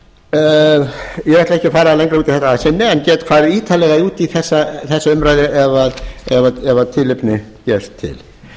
ekki að fara lengra út í þetta að sinni en get farið ítarlegar út i þessa umræðu ef tilefni gefst til